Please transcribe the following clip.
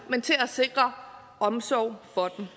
men til at sikre omsorg for dem